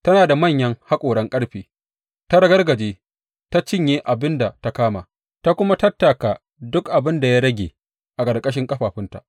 Tana da manyan haƙoran ƙarfe; ta ragargaje ta cinye abin da ta kama, ta kuma tattaka duk abin da ya rage a ƙarƙashin ƙafafunta.